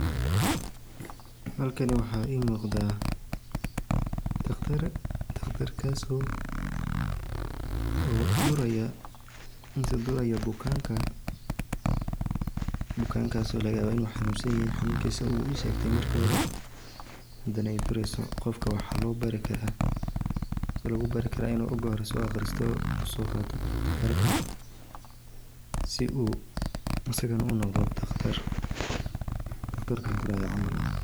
Halkani waxaa ii muqadaa daqtar oo duraya bukanka bukaankaas oo laga yaabo inuu xanuunsan yahay qofka waxa lagu bari karaa inuu soo barto marka hore si uu asagana unoqde daqtar sida kam duraya camal ah.